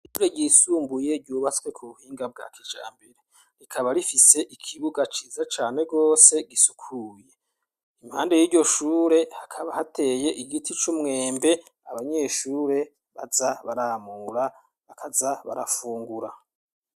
Ishure ryisumbuye ryubatswe ku buhinga bwa kijambere rikaba rifise ikibuga ciza cane gose gisukuye impande y'iyo shure hakaba hateye igiti c'umwembe abanyeshure baza baramura bakaza barafungura.